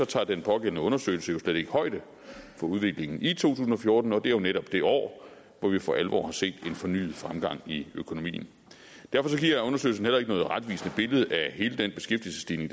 tager den pågældende undersøgelse jo slet ikke højde for udviklingen i to tusind og fjorten og det er jo netop det år hvor vi for alvor har set en fornyet fremgang i økonomien derfor giver undersøgelsen heller ikke noget retvisende billede af hele den beskæftigelsesstigning